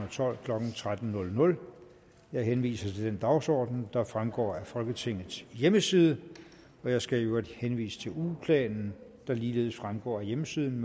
og tolv klokken tretten jeg henviser til den dagsorden der fremgår af folketingets hjemmeside jeg skal i øvrigt henvise til ugeplanen der ligeledes fremgår af hjemmesiden